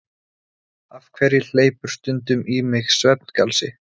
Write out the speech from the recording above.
Af hverju hleypur stundum í mig svefngalsi?